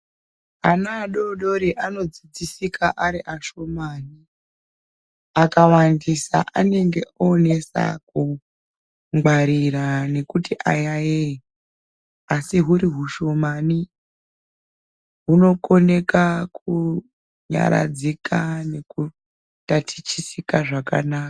Ana adodori anodzidzisika ari ashomani. Akawandisa anenge onesa kungwarira nekuti ayayeye. Asi huri hushomani ,hunokoneka kunyaradzika nekuhutatichisika zvakanaka.